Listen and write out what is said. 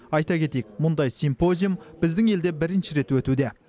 айта кетейік мұндай симпозиум біздің елде бірінші рет өтуде